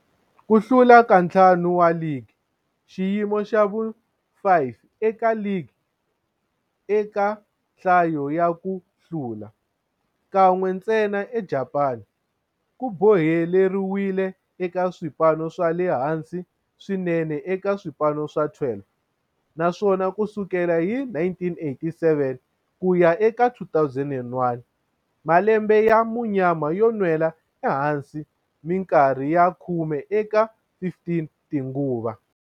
Ku hlula ka ntlhanu wa ligi, xiyimo xa vu-5 eka ligi eka nhlayo ya ku hlula, kan'we ntsena eJapani, ku boheleriwile eka swipano swa le hansi swinene eka swipano swa 12, naswona ku sukela hi 1987 ku ya eka 2001, malembe ya munyama yo nwela ehansi minkarhi ya khume eka 15 tinguva.